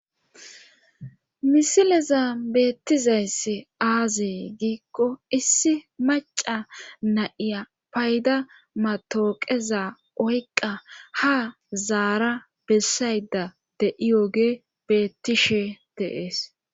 misileza beettizayss aazee giikko issi maca na'iya payda matooqeza oyqa ha zaara bessayda de'iyoge beettishe de'ees